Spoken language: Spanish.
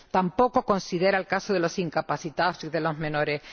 Tampoco considera el caso de los incapacitados y de los menores.